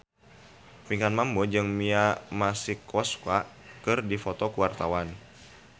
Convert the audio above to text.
Pinkan Mambo jeung Mia Masikowska keur dipoto ku wartawan